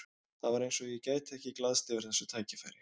Það var eins og ég gæti ekki glaðst yfir þessu tækifæri.